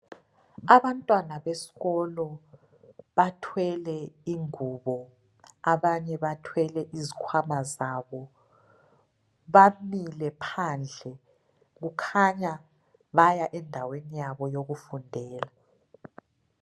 Abantwana besikolo bathwele ingubo abanye bathwele izikhwama zabo. Bamile phandle kukhanya baya endaweni yabo yokufundela.